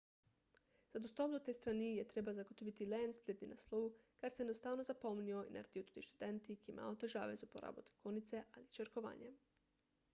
za dostop do te strani je treba zagotoviti le en spletni naslov kar si enostavno zapomnijo in naredijo tudi študenti ki imajo težave z uporabo tipkovnice ali črkovanjem